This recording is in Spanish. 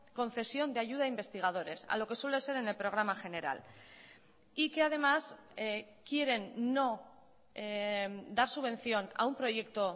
concesión de ayuda a investigadores a lo que suele ser en el programa general y que además quieren no dar subvención a un proyecto